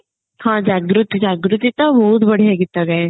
ହଁ ଜାଗୃତି ଜାଗୃତି ତ ବହୁତ ବଢିଆ ଗୀତ ଗାଏ